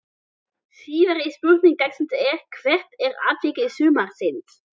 Síðari spurning dagsins er: Hvert er atvik sumarsins?